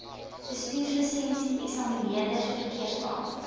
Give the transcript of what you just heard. bestuurslisensie eksamineerders verkeersbeamptes